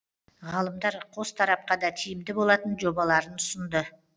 ғалымдар қос тарапқа да тиімді болатын жобаларын ұсынды